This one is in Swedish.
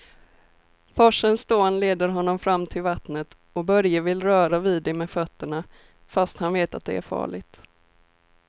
Forsens dån leder honom fram till vattnet och Börje vill röra vid det med fötterna, fast han vet att det är farligt.